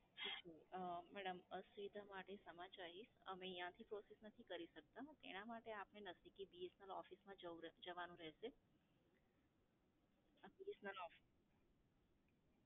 અં madam અસુવિધા માટે ક્ષમા ચાહીએ, અમે અહીયાંથી process નથી કરી શકતા એનાં માટે આપે નઝદીકી BSNL office માં જવું રહે, જવાનું રહેશે.